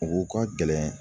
U ka gɛlɛn